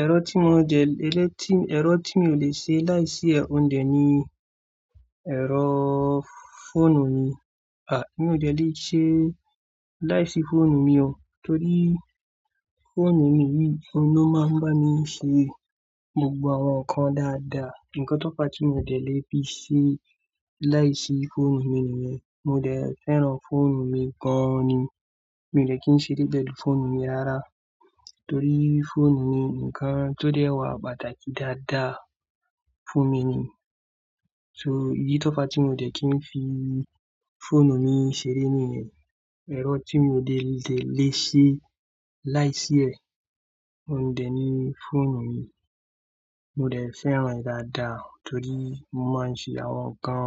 Ẹ̀rọ tí mo lè ṣe láìsí òun dẹ̀ ni ẹ̀rọ fóònù mi. À, mi ò le ṣe láìsí fóònù mi o. Torí fóònù ni ló máa ń bá mi ṣe gbogbo àwọn nǹkan dáadáa. Ǹkan tó pa tí mo lè fi ṣe láìsí fóònù mi nìyẹn. Mo dẹ̀ fẹ́ràn fóònù mi gan-an ni. Mi ò le kí n ṣeré gẹ́lú fóònù mi rárá. Torí fóònù ni ǹkan tó dẹ́ wà pàtàkì dáadáa fún mi ni. So ìdí tó fa tí mo dẹ̀ kí n fi fóònù mi ṣeré nìyẹn. Ẹ̀rọ tí mo lè ṣe láìsí ẹ̀, òun dẹ̀ ni fóònù mi. Mo dẹ̀ fẹ́ràn rẹ̀ dáadáa torí mo máa ń ṣe àwọn nǹkan